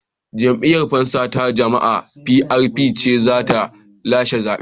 Jam'iyyar Fansa ta Jama'a (PRP) ce za ta lashe zaben.